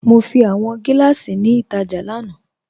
Mo fi awọn giláṣí ni ítajà lánà.